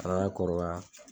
Kana kɔrɔbaya